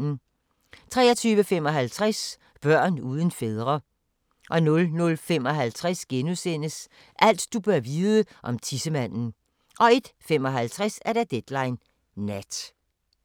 23:55: Børn uden fædre 00:55: Alt du bør vide om tissemanden * 01:55: Deadline Nat